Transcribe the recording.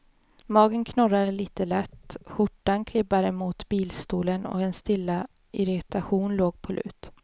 Magen knorrade lite lätt, skjortan klibbade mot bilstolen och en stilla irritation låg på lut.